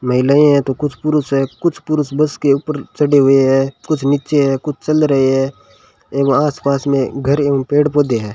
महिलाएं हैं तो कुछ पुरुष है कुछ पुरुष बस के ऊपर चढ़े हुए हैं कुछ नीचे है कुछ चल रहे हैं एवं आसपास में घर एवं पेड़ पौधे है।